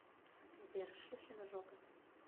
сбер шлюхина жопа